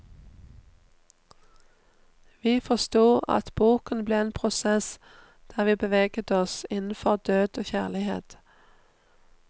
Vi forstod at boken ble en prosess der vi beveget oss innenfor død og kjærlighet.